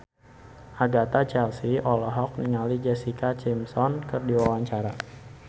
Agatha Chelsea olohok ningali Jessica Simpson keur diwawancara